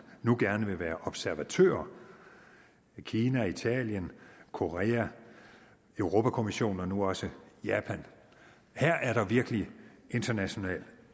nu gerne vil være observatører kina italien korea europa kommissionen og nu også japan her er der virkelig international